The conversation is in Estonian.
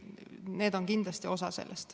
Need on kindlasti osa sellest.